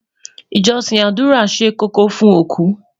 ìjósìn ádùrá ṣé kókó fún oku